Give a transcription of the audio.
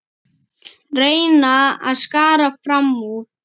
Reyna að skara fram úr.